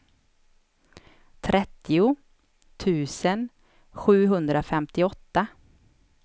trettio tusen sjuhundrafemtioåtta